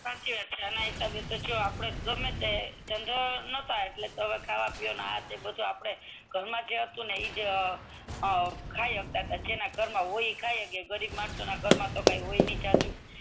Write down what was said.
હા સાચી વાત છે એમાંય જોવો આપડે ગમે તે ધંધા નાત એટલે ખાવા પીવાનું બધુ આપડે ઘરનું જે હતુ ઈજ આપડે ખાય હકતતા જેના ઘર મા હોય ઈ કહી સકે ગરીબ ઘર માતો હોય ની જજુ